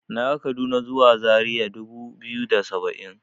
Naga kaduna zuwa zaria dubu biyu da saba'in.